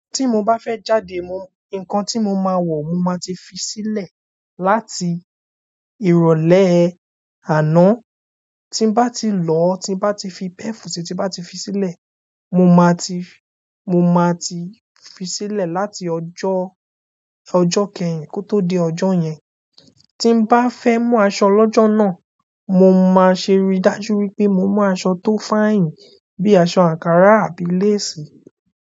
Tí mo bá fẹ́ jáde, nǹkan tí mo máa wọ̀ mo máa ti fi sílẹ̀ láti ìrólé àná. Tí n bá ti lọ, tí n bá ti fi perf sì tí n bá ti fi sílẹ̀, mo máa ti fi sílẹ̀ láti ọjọ́ kẹ́yìn kó tó di ọjọ́ yẹn. Tí n bá fẹ́ mú aṣọ lọ́jọ́ náà, mo máa ṣe rí dájú wípé mo mú aṣọ tó fine bíi aṣọ àǹkará àti lace.